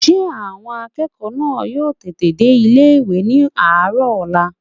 Ṣé àwọn akẹ́kọ̀ọ́ náà yóò tètè dé ilé-ìwé ní àárọ̀ ọ̀la?